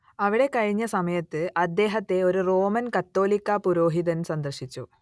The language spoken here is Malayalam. അവിടെ കഴിഞ്ഞ സമയത്ത് അദ്ദേഹത്തെ ഒരു റോമൻ കത്തോലിക്കാ പുരോഹിതൻ സന്ദർശിച്ചു